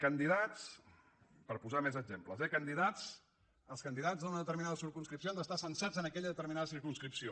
candidats per posar ne més exemples eh els candidats d’una determinada circumscripció han d’estar censats en aquella determinada circumscripció